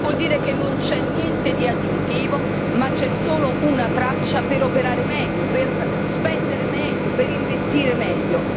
Il che vuol dire che non c'è niente di aggiuntivo, ma c'è solo una traccia per operare meglio, per spendere meglio, per investire meglio.